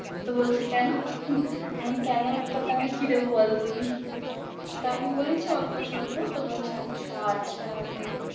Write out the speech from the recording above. তো বলছে কেন? কেনোর উত্তর টা আমি কি দেব বলো তুমি? তা আমি বলেছি অল্প স্বল্প, তো বলছে আচ্ছা আচ্ছা ওটাই।